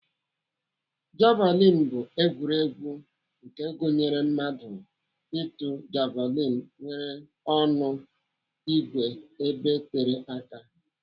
Javilini bụ egwuregwu nke gụnyere mmadụ ịtụ javilini nwere ọnụ ìgwè ebe tere aka.